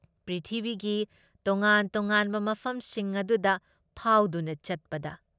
ꯄ꯭ꯔꯤꯊꯤꯕꯤꯒꯤ ꯇꯣꯉꯥꯟ ꯇꯣꯉꯥꯟꯕ ꯃꯐꯝꯁꯤꯡ ꯑꯗꯨꯗ ꯐꯥꯎꯗꯨꯅ ꯆꯠꯄꯗ ꯫